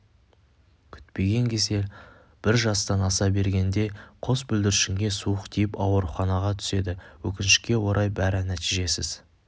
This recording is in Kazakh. күтпеген кесел бір жастан аса бергенде қос бүлдіршінге суық тиіп ауруханаға түседі өкінішке орай бәрі нәтижесіз